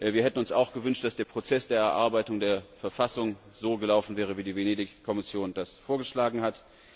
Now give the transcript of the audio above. Wir hätten uns auch gewünscht, dass der Prozess der Erarbeitung der Verfassung so gelaufen wäre, wie die Venedig Kommission das vorgeschlagen hat.